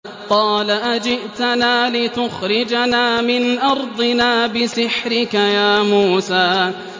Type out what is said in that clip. قَالَ أَجِئْتَنَا لِتُخْرِجَنَا مِنْ أَرْضِنَا بِسِحْرِكَ يَا مُوسَىٰ